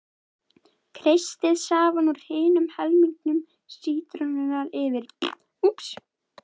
Kreistið safann úr hinum helmingi sítrónunnar yfir.